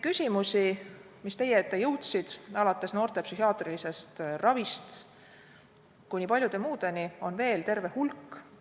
Küsimusi, mis teie ette jõudsid, alates noorte psühhiaatrilisest ravist kuni paljude muudeni, on veel terve hulk.